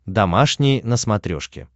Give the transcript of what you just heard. домашний на смотрешке